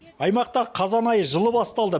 аймақта қазан айы жылы басталды